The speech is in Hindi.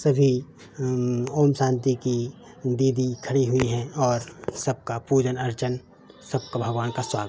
सभी अम्म ओम शांति की दीदी खड़ी हुई हैं और सबका पूजन अर्चन सबका भगवान का स्वा --